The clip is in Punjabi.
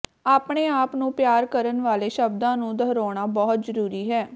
ਆਪਣੇ ਆਪ ਨੂੰ ਪਿਆਰ ਕਰਨ ਵਾਲੇ ਸ਼ਬਦਾਂ ਨੂੰ ਦੁਹਰਾਉਣਾ ਬਹੁਤ ਜ਼ਰੂਰੀ ਹੈ